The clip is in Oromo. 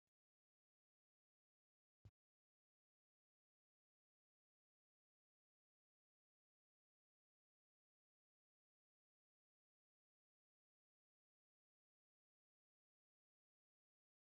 Taphattoonni kubbaa miilaa kunneen kan kilabii kubbaa miilaa Faasil Kanamaa jedhamuu dha. Kilabiin kun teessuma isaa magaalaa Gondar kan godhate yoo ta'u, maqaa mootota Gondar keessaa tokko Faasil jedhamuun kan moggaa'e dha.